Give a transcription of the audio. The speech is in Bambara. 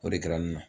O de kɛra ne na